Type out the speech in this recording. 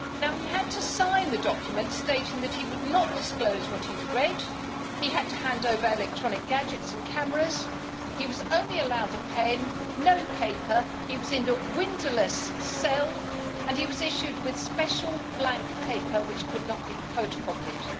He had to sign a document stating that he would not disclose what he read, he had to hand over electronic gadgets and cameras, he was only allowed a pen, no paper, he was in a windowless cell and he was issued with special blank paper which could not be photocopied.